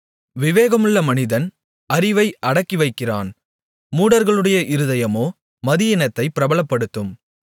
விவேகமுள்ள மனிதன் அறிவை அடக்கிவைக்கிறான் மூடர்களுடைய இருதயமோ மதியீனத்தைப் பிரபலப்படுத்தும்